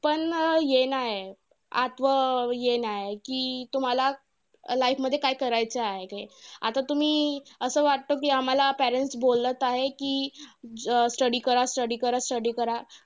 पण हे नाही. आठवण येना आहे की life मध्ये तुम्हांला काय करायचं आहे ते. आता तुम्ही असं वाटत कि आम्हांला parents बोलत आहे की, अं study करा study करा study करा.